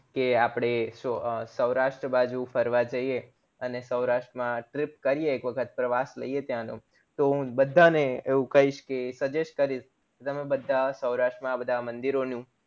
કે અપડે સૌરાષ્ટ્ર બાજુ ફરવા જઈએ અને સૌરાષ્ટ્ર માં trip કરીએ એક વખત પ્રવાસ લિયે ત્યાં નો તો હું બધા ને એવું કઈશ કે suggest કરીશ તમે બધા સૌરાષ્ટ માં બધા મંદિરો નું